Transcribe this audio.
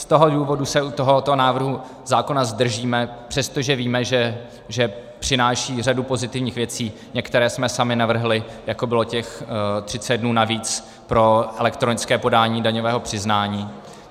Z toho důvodu se u tohoto návrhu zákona zdržíme, přestože víme, že přináší řadu pozitivních věcí, některé jsme sami navrhli, jako bylo těch 30 dnů navíc pro elektronické podání daňového přiznání.